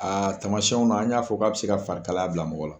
Aa tamasɛnw na an n y'a fɔ k' a bɛ se ka farikalaya bila mɔgɔ la.